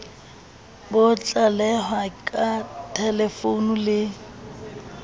bo tlalehwa ka thelefounu le